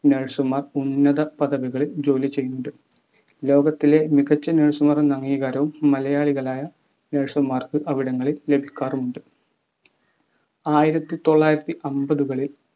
nurse മാർ ഉന്നത പദവികളിൽ ജോലി ചെയ്യുന്നുണ്ട് ലോകത്തിലെ മികച്ച nurse മാർ എന്ന അംഗീകാരവും മലയാളികളായ nurse മാർക്ക് അവിടങ്ങളിൽ ലഭിക്കാറുണ്ട് ആയിരത്തിതൊള്ളായിരത്തി അമ്പതുക്കളിൽ